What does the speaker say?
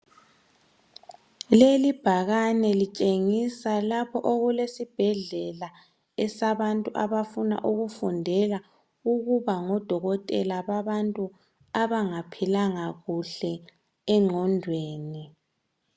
leli ibhakane litshengisa lapho okulesibhedlela sabantu abafuna ukufundela ukuba ngo dokotela babantu abangaphilanga kuhle enqondweni